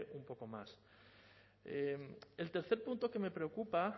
un poco más el tercer punto que me preocupa